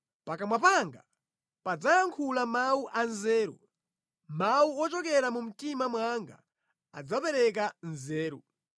Pakamwa panga padzayankhula mawu anzeru; mawu ochokera mu mtima mwanga adzapereka nzeru.